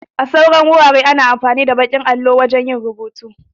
A sauran wuraren ana amfani da baƙin allo da alli wajan yin rubutu